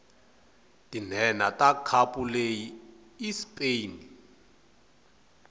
tinhenha takhapuleyi ispain